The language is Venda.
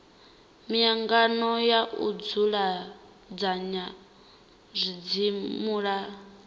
miangano na u dzudzanya zwidzimula